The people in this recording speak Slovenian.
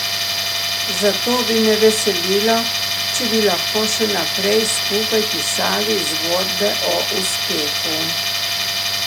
Zato bi me veselilo, če bi lahko še naprej skupaj pisali zgodbe o uspehu.